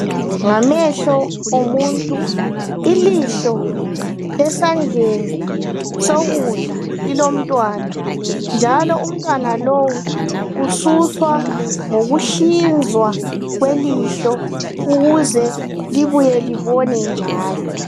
Ngamehlo omuntu. Ilihlo esandleni sokudla lilomntwana, njalo umntwana lowu ususwa ngokuhlinzwa kwelihlo ukuze libuye libone njalo.